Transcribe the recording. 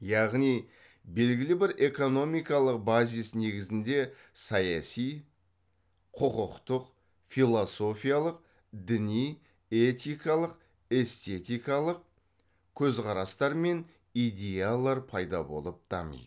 яғни белгілі бір экономикалық базис негізінде саяси құқықтық философиялық діни этикалық эстетикалық көзқарастар мен идеялар пайда болып дамиды